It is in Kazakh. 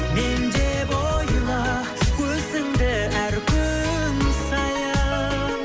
мен деп ойла өзіңді әр күн сайын